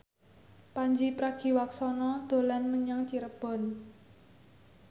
Pandji Pragiwaksono dolan menyang Cirebon